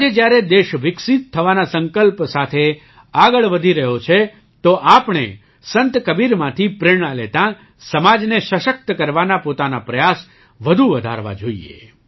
આજે જ્યારે દેશ વિકસિત થવાના સંકલ્પ સાથે આગળ વધી રહ્યો છે તો આપણે સંત કબીરમાંથી પ્રેરણા લેતાં સમાજને સશક્ત કરવાના પોતાના પ્રયાસ વધુ વધારવા જોઈએ